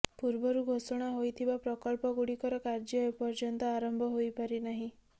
ପୂର୍ବରୁ ଘୋଷଣା ହୋଇଥିବା ପ୍ରକଳ୍ପ ଗୁଡିକର କାର୍ଯ୍ୟ ଏପଯ୍ୟନ୍ତ ଆରମ୍ଭ ହୋଇପାରିନାହିଁ